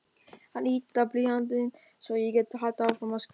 Hann yddar blýantinn svo ég geti haldið áfram að skrifa.